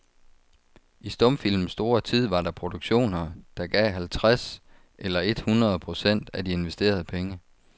I stumfilmens store tid var der produktioner, der gav halvtreds eller et hundrede procent af de investerede penge.